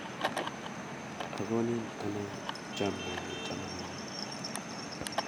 Akonin ane chamnyenyu chamanenyu